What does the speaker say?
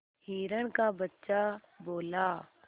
हिरण का बच्चा बोला